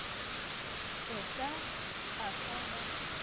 o ka a fa ba